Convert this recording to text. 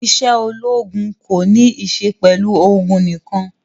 Isé ológun ko ní isé pẹlu ogun nikan